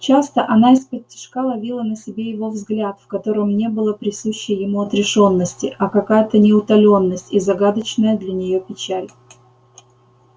часто она исподтишка ловила на себе его взгляд в котором не было присущей ему отрешённости а какая-то неутоленность и загадочная для нее печаль